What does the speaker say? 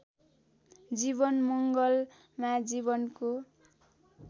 जीवन मङ्गलमा जीवनको